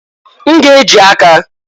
N ga-eji aka.